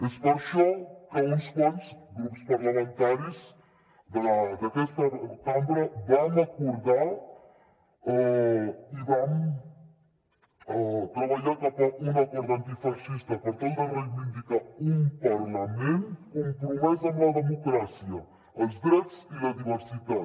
és per això que uns quants grups parlamentaris d’aquesta cambra vam acordar i vam treballar per un acord antifeixista per tal de reivindicar un parlament compromès amb la democràcia els drets i la diversitat